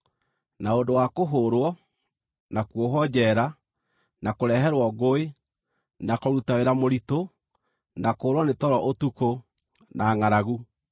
na ũndũ wa kũhũũrwo, na kuohwo njeera, na kũreherwo ngũĩ; na kũruta wĩra mũritũ, na kũũrwo nĩ toro ũtukũ, na ngʼaragu;